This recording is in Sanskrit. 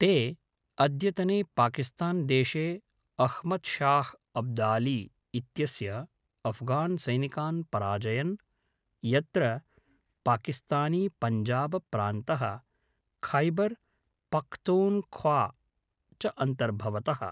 ते, अद्यतने पाकिस्तान्देशे, अह्मद् शाह् अब्दाली इत्यस्य अफ़्गान्सैनिकान् पराजयन्, यत्र पाकिस्तानीपञ्जाबप्रान्तः, खैबर् पख्तूङ्ख्वा च अन्तर्भवतः।